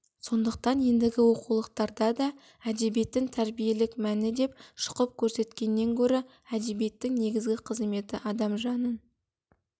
сондықтан ендігі оқулықтарда да әдебиеттің тәрбиелік мәні деп шұқып көрсеткеннен гөрі әдебиеттің негізгі қызметі адам жанын